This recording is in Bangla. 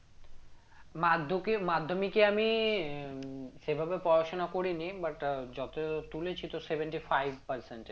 মাধ্যকে মাধ্যমিকে আমি আহ সেভাবে পড়াশোনা করি নি but আহ যত তুলেছি তো seventy five percentage